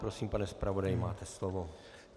Prosím, pane zpravodaji, máte slovo.